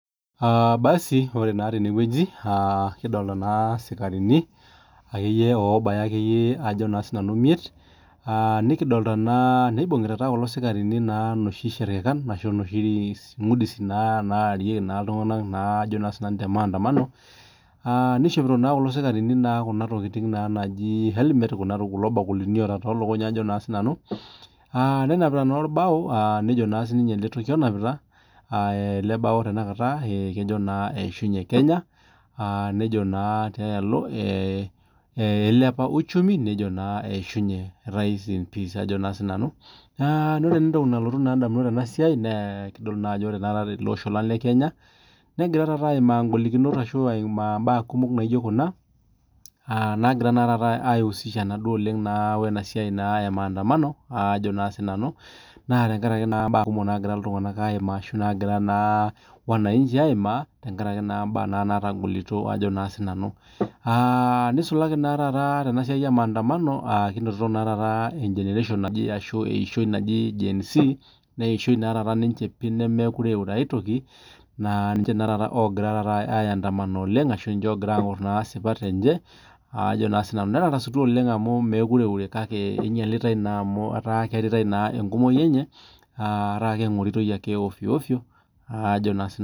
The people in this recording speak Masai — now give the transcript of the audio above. Aa basi ore naa tenewueji kidolita naa esikarini akeyie obaya akeyie emiet nibungita enoshi sharkakan ashu enoshi ngusidin naa narie naa iltung'ana te mandamano nishopito Kuna tokitin naaji helmet kulo bakulini otaa too lukuny Ajo sinanu nenapita naa orbao nejoo naa ele toki onapita ele bao onapita kejoo naa eyishunye Kenya nejoo tialo elepaa uchumi nejoo rest in peace Ajo nanu naa ore entoki nalotu edamunot ainei Tena siai naa kitodolu Ajo ore tele Osho lee Kenya negira ayimaa golikinot arashu mbaa naijio Kuna aa nagira aiusisha naa ena siai ee cs]mandamano Ajo sinanu naa tenkaraki mbaa kumok nagira iltung'ana ayimaa Ajo nanu naa wanainchi ayimaa tenkaraki naa natogolito nisulaki naa Tena siai ee mandamano kinotito naa taata eyishoi naaji GEN Z naa eyishoi naa ninche nemeure aitoki pii naaa ninche taata ogira aindamana oleng arashu niche asuj esipat enye Ajo sinanu nee tarasutua oleng amu mekure eure kake enyialitae naa amu etaa kiaritae naa tenkumoki enye etaa kengoritoi ake ovyo ovyo Ajo naa sinanu